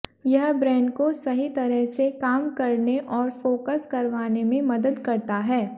यह ब्रेन को सही तरह से काम करने और फोकस करवाने में मदद करता है